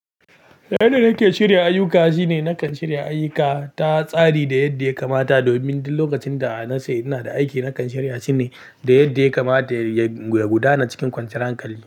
Yanda yake shirya ayyuka shine na kan shirya ayyuka ta tsari da yadda ya kamata domin duk lokacin da a na ce ina da aiki na kan shirya shine da yadda ya kamata ya gudana cikin kwanciyar hankali.